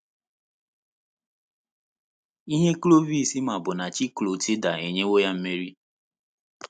Ihe Clovis ma bụ na Chi Clotilda enyewo ya mmeri.